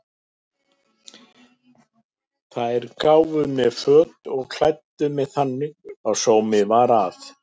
Þær gáfu mér föt og klæddu mig þannig að sómi var að.